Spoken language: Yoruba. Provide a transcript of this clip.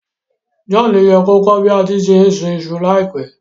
John ye ko kọ́ bi a se n sùn isu láìpẹ́